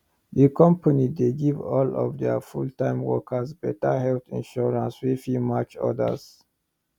di company dey give all dia fulltime workers better health insurance wey fit match others